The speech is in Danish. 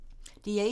DR1